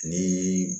Ni